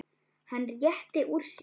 Hann rétti úr sér.